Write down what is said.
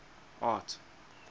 art